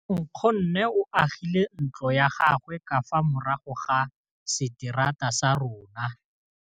Nkgonne o agile ntlo ya gagwe ka fa morago ga seterata sa rona.